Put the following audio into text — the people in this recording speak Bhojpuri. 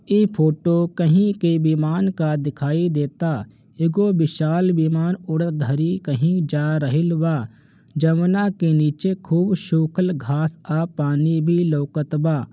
इ फोटो कही के विमान का दिखाई देता ईगो विशाल विमान उड़धारी कही जा राहिल बा जमुना के नीचे खूब सुखल घास और पानी भी लउकत बा।